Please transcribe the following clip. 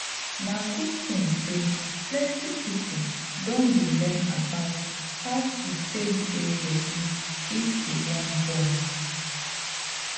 na good thing say plenty people don dey learn about how to take dey ready if you wan born